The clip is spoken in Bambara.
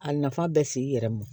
A nafa bɛ s'i yɛrɛ ma